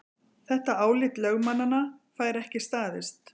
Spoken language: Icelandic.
Þetta álit lögmannanna fær ekki staðist